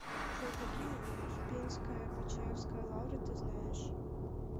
джой какие успенская почаевская лавра ты знаешь